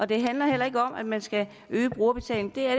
det handler heller ikke om at man skal øge brugerbetalingen det er